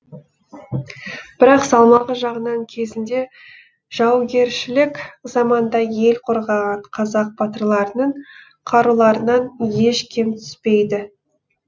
бірақ салмағы жағынан кезінде жаугершілік заманда ел қорғаған қазақ батырларының қаруларынан еш кем түспейді